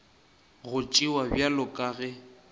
go tšewa bjalo ka ge